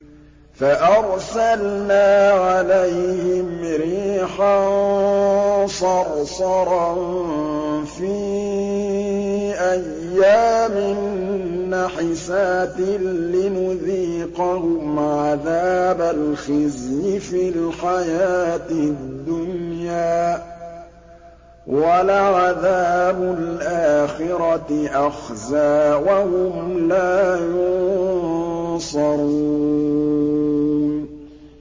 فَأَرْسَلْنَا عَلَيْهِمْ رِيحًا صَرْصَرًا فِي أَيَّامٍ نَّحِسَاتٍ لِّنُذِيقَهُمْ عَذَابَ الْخِزْيِ فِي الْحَيَاةِ الدُّنْيَا ۖ وَلَعَذَابُ الْآخِرَةِ أَخْزَىٰ ۖ وَهُمْ لَا يُنصَرُونَ